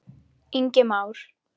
Ingi Már.